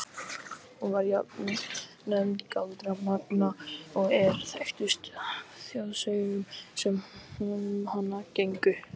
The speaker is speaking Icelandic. Hún var jafnan nefnd Galdra-Manga og er þekktust af þjóðsögum sem um hana gengu.